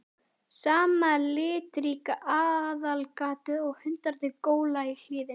Sama litríka aðalgatan og hundarnir gólandi í hlíðinni.